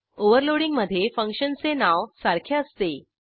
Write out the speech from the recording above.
ओव्हरलोडिंगमधे फंक्शनचे नाव सारखे असते